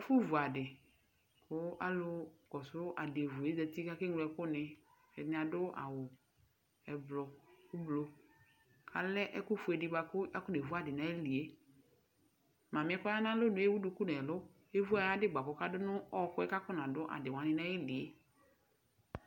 Ɛfʋ vu adɩ, kʋ alʋ kɔsʋ adɩevu zati ka ke ŋlo ɛkʋ nɩ; ɛdɩnɩ adʋ awʋ ʋblʋ,ka lɛ ɛkʊ fue dɩ bʋa kafɔnevu adɩ nayilie Mamɩɛ kɔ ya nalonue ewu duku nɛlʋ, evu ayadɩ bʋa kɔka dʋ n' ɔɔkʋɛ kakɔna dʋ adɩ wanɩ nayilie